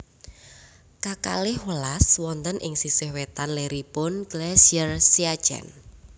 K kalih welas wonten ing sisih wetan leripun Glacier Siachen